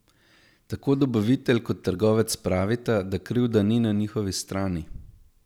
Tako dobavitelj kot trgovec pravita, da krivda ni na njihovi strani.